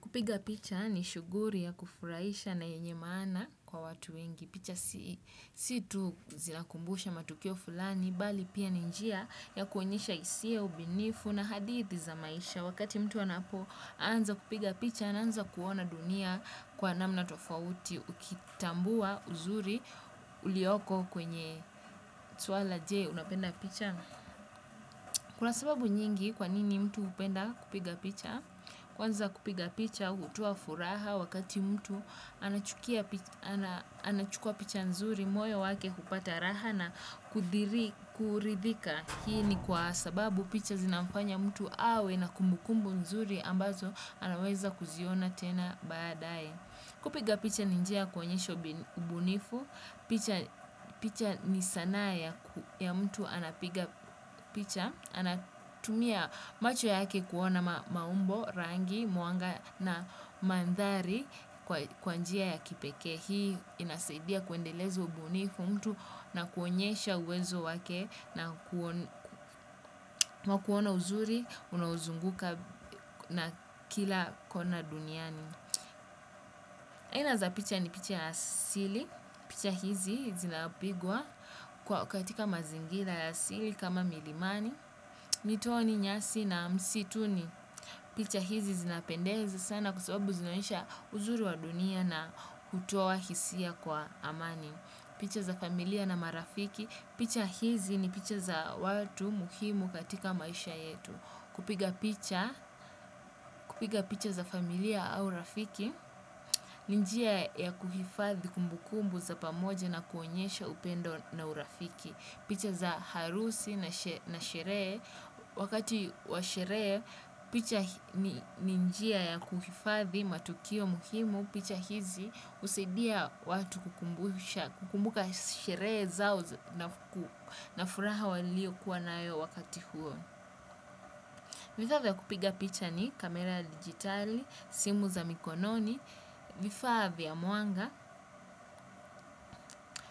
Kupiga picha ni shughuli ya kufurahisha na yenye maana kwa watu wengi. Picha si tu za kukumbusha matukio fulani, bali pia ni njia ya kuonyesha hisia ubinifu na hadithi za maisha. Wakati mtu anapoanza kupiga picha anaanza kuona dunia kwa namna tofauti ukitambua uzuri ulioko kwenye swala je unapenda picha? Kuna sababu nyingi kwa nini mtu hupenda kupiga picha? Kwanza kupiga picha hutoa furaha wakati mtu anachukua picha nzuri moyo wake hupata raha na kuridhika. Hii ni kwa sababu picha zinamfanya mtu awe na kumbukumbu nzuri ambazo anaweza kuziona tena baadaye. Kupiga picha ni njia ya kuonyesha ubunifu. Picha ni sanaa ya mtu anapiga picha. Anatumia macho yake kuona maumbo, rangi, mwanga na mandhari kwa njia ya kipekee. Hii inasaidia kuendeleza ubunifu wa mtu na kuonyesha uwezo wake na kuona uzuri unaozunguka na kila kona duniani. Aina za picha ni picha ya asili. Picha hizi zinapigwa kwa katika mazingira ya asili kama milimani. Mitoni nyasi na msituni. Picha hizi zinapendeza sana kwa sababu zinaonyesha uzuri wa dunia na kutoa hisia kwa amani. Picha za familia na marafiki. Picha hizi ni picha za watu muhimu katika maisha yetu. Kupiga picha za familia au rafiki ni njia ya kuhifadhi kumbukumbu za pamoja na kuonyesha upendo na urafiki picha za harusi na sherehe wakati wa sherehe picha ni njia ya kuhifadhi matukio muhimu picha hizi husaidia watu kukumbuka sherehe zao na furaha waliokuwa nayo wakati huo. Vifaa vya kupiga picha ni kamera ya digitali, simu za mikononi, vifaa vya mwanga,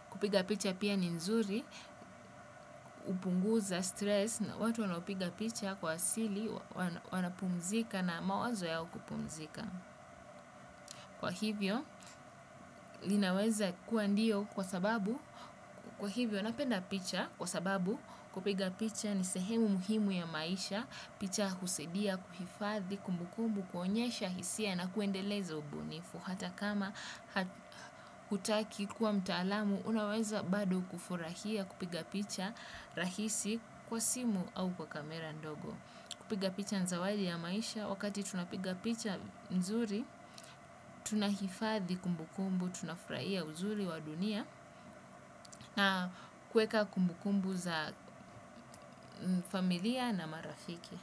kupiga picha pia ni nzuri, hupunguza stress na watu wanapiga picha kwa asili wanapumzika na mawazo yao kupumzika. Kwa hivyo, linaweza kuwa ndio kwa sababu. Kwa hivyo, napenda picha kwa sababu kupiga picha ni sehemu muhimu ya maisha. Picha husadia kuhifadhi kumbukumbu, kuonyesha hisia na kuendeleza ubunifu. Hata kama hutaki kuwa mtaalamu, unaweza bado kufurahia kupiga picha rahisi kwa simu au kwa kamera ndogo. Kupiga picha ni zawadi ya maisha wakati tunapiga picha nzuri, tunahifadhi kumbukumbu, tunafurahia uzuri wa dunia na kuweka kumbukumbu za familia na marafiki.